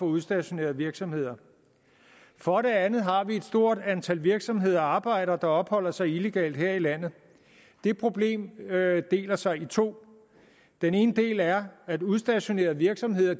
udstationerede virksomheder for det andet har vi et stort antal virksomheder og arbejdere der opholder sig illegalt her i landet det problem deler sig i to den ene del er at udstationerede virksomheder